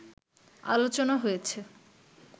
আলোচনা হয়েছে